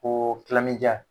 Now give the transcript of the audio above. Ko